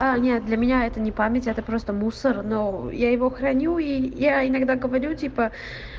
а нет для меня это не память это просто мусор но я его храню и я иногда говорю типа